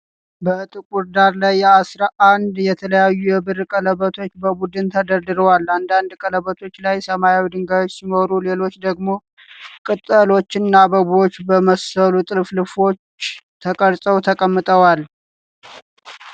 በጥቁር ዳራ ላይ አስራ አንድ የተለያዩ የብር ቀለበቶች በቡድን ተደርድረዋል። አንዳንድ ቀለበቶች ላይ ሰማያዊ ድንጋዮች ሲኖሩ፣ ሌሎቹ ደግሞ ቅጠሎችና አበቦችን በመሰሉ ጥልፍልፎች ተቀርጸው ተቀምጠዋል።